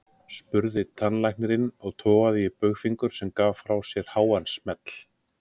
spurði tannlæknirinn og togaði í baugfingur, sem gaf frá sér háan smell.